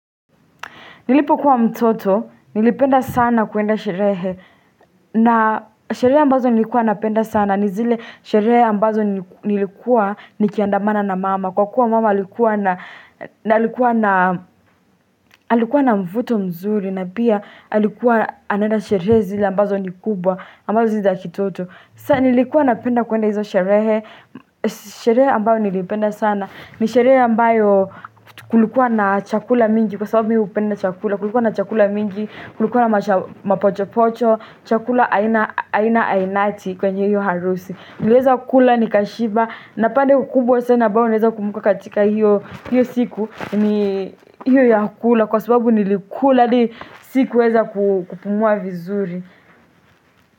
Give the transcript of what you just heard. Nilipo kuwa mtoto, nilipenda sana kuenda sherehe, na sherehe ambazo nilikuwa napenda sana, ni zile sherehe ambazo nilikuwa nikiandamana na mama, kwa kuwa mama alikuwa na mvuto mzuri, na pia alikuwa anaenda sherehe zile ambazo nikubwa, ambazo siza kitoto. Saa nilikuwa napenda kuenda hizo sherehe. Sherehe ambayo nilipenda sana. Nisherehe ambayo kulikuwa na chakula mingi kwa sababu ni upenda chakula. Kulikuwa na chakula mingi, kulikuwa na mapochopocho, chakula aina ainati kwenye hiyo harusi. Nileza kula ni kashiba. Napande kukubwa sana ambayo naeza kumbuka katika hiyo siku. Ni hiyo ya kula kwa sababu nilikuwa hadi siku weza kupumua vizuri.